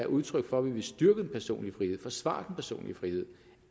udtryk for at vi vil styrke den personlige frihed forsvare den personlige frihed